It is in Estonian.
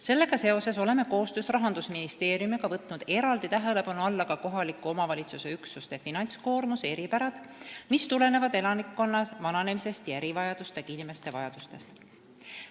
Sellega seoses oleme koostöös Rahandusministeeriumiga võtnud eraldi tähelepanu alla ka kohaliku omavalitsusüksuse finantskoormuse eripärad, mis tulenevad elanikkonna vananemisest ja erivajadustega inimeste vajadustest.